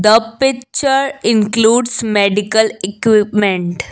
a picture includes medical equipment.